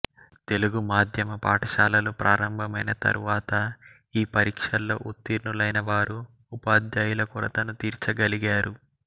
తెలుగు మాధ్యమ పాఠశాలలు ప్రారంభమైన తర్వాత ఈ పరీక్షల్లో ఉత్తీర్ణులైనవారు ఉపాధ్యాయుల కొరతను తీర్చగలిగారు